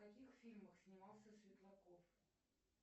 в каких фильмах снимался светлаков